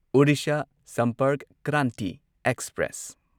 Orissa Sampark Kranti express